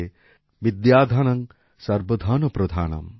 বিদ্যাধনং সর্বধনপ্রধানম্